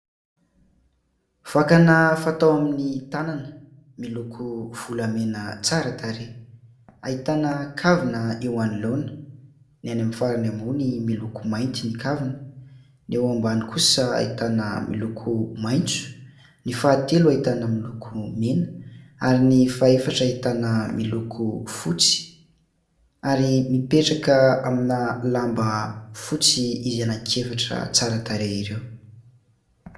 Vakana fatao amin'ny tanana. Miloko volamena tsara tarehy. Ahitana kavina eo anoloana, ny any amin'ny farany ambony miloko mainty ny kavina, ny eo ambany kosa ahitana miloko maitso, ny fahatelo ahitana miloko mena ary ny faha efatra ahitana miloko fotsy ary mipetraka amina lamba fotsy izy anankiefatra tsara tarehy ireo.